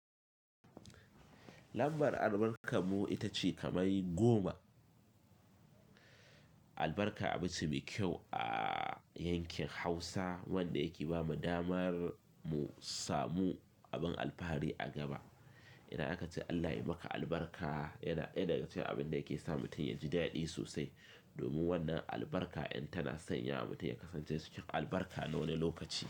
Lambar albarkan mu ita ce kamar goma. Albarka abinci mai kyau a yankin Hausa wanda yake ba mu damar mu samu abin alfahari a gaba. Idan aka ce Allah ya maka albarka yana ɗaya daga cikin abin da yake sa mutum ya ji daɗi sosai. Domin wannan albarka in tana sanya mutum ya kasance cikin albarka a wani lokaci.